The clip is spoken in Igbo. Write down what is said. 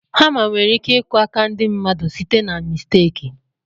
Hama nwere iku aka ndị mmadụ site na misteki.